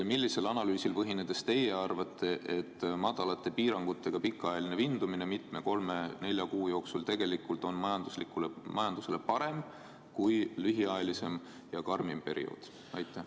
Millisele analüüsile tuginedes te arvate, et väiksemate piirangutega pikaajaline vindumine mitme kuu jooksul, kolme-nelja kuu jooksul on majandusele parem kui lühiajalisem ja karmim periood?